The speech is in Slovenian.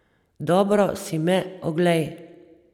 Dobro si me oglej.